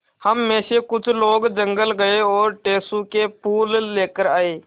हम मे से कुछ लोग जंगल गये और टेसु के फूल लेकर आये